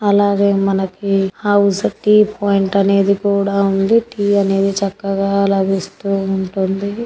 అలాగే మనకి house tea point అనేది కూడా ఉంది.టీ అనేది చక్కగా లభిస్తూ ఉంటుంది .